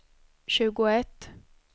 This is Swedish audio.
tjugoett